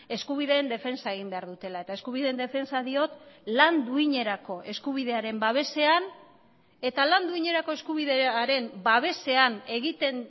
eskubideen defentsa egin behar dutela eta eskubideen defentsa diot lan duinerako eskubidearen babesean eta lan duinerako eskubidearen babesean egiten